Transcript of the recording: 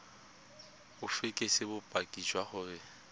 o fekese bopaki jwa gore